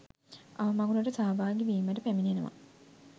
අවමගුලට සහභාගී වීමට පැමිණෙනවා